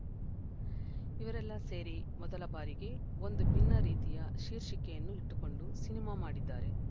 ಇವರೆಲ್ಲ ಸೇರಿ ಮೊದಲ ಬಾರಿಗೆ ಒಂದು ಭಿನ್ನ ರೀತಿಯ ಶೀರ್ಷಿಕೆಯನ್ನು ಇಟ್ಟುಕೊಂಡು ಸಿನಿಮಾ ಮಾಡಿದ್ದಾರೆ